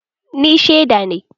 Ni sheda ne